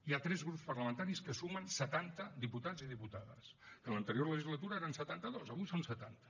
hi ha tres grups parlamentaris que sumen setanta diputats i diputades que en l’anterior legislatura eren setanta dos avui són setanta